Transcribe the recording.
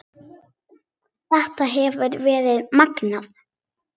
Þetta hefur verið magnað.